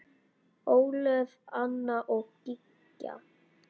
Ólöf, Anna og Gígja.